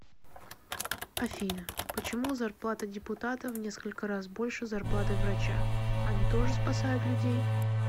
афина почему зарплата депутата в несколько раз больше зарплаты врача они тоже спасают людей